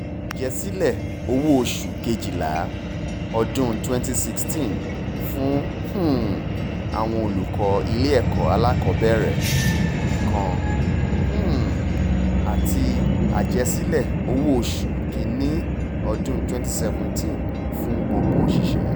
àjèsílẹ̀ owóoṣù kejìlá ọdún twenty sixteen fún um àwọn olùkọ́ ilé-ẹ̀kọ́ alákọ̀ọ́bẹ̀rẹ̀ nìkan um àti àjẹsílẹ̀ owóoṣù kìn-ín-ní ọdún twenty seventeen fún gbogbo òṣìṣẹ́